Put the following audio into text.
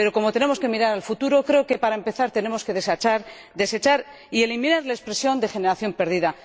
Pero como tenemos que mirar al futuro, creo que, para empezar, tenemos que desechar y eliminar la expresión de generación perdida.